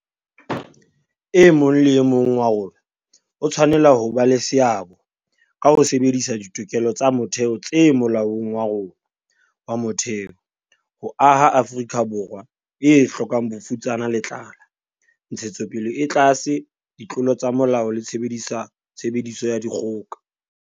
E mong le e mong wa rona o tshwanela ho ba le seabo ka ho sebedisa ditokelo tsa motheo tse Molaong wa rona wa Motheo ho aha Afrika Borwa e hlokang bofutsana le tlala, ntshetsopele e tlase, ditlolo tsa molao le tshebediso ya dikgoka.